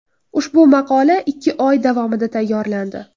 Ushbu maqola ikki oy davomida tayyorlandi.